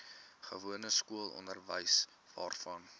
gewone skoolonderwys waarvan